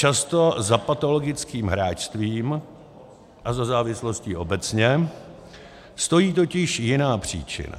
Často za patologickým hráčstvím a za závislostí obecně stojí totiž jiná příčina.